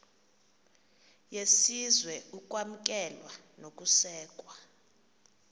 yesizwe ukwamkelwa nokusekwa